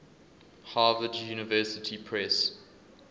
harvard university press